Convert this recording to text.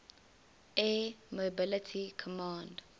air mobility command